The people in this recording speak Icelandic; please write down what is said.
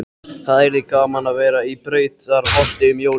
Það yrði gaman að vera í Brautarholti um jólin.